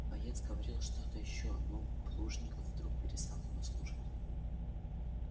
боец говорил что то ещё но плужников вдруг перестал его слушать